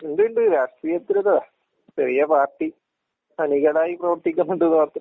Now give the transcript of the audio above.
ഇണ്ട് ഇണ്ട് രാഷ്ട്രീയത്തിലൊര് ചെറിയ പാർട്ടി അണികളായി പ്രവൃത്തിക്കുന്നുണ്ട്ന്ന് മാത്രം.